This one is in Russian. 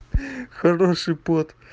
хороший пот